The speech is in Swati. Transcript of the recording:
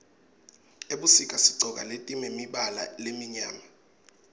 ebusika sigcoka letimemibala lemimyama